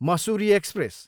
Mussoorie express